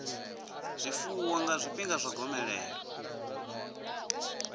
zwifuwo nga zwifhinga zwa gomelelo